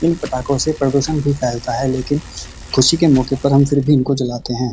इन पटाखों से प्रदूषण भी फैलता है लेकिन खुशी के मौके पर फिर भी इनको जलाते हैं।